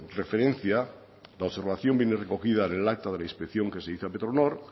referencia la observación viene recogida en el acta de la inspección que se hizo a petronor